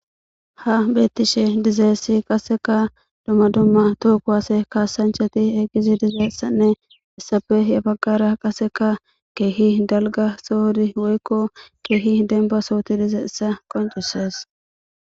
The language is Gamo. Ha beettishe dizeessi qaseka dumma dumma tookuwase kaasanchati egizi dizeessanne issafe yabagara qaseka keehi dalga soodi woykko keehi denba sooti dize issa qoncusees.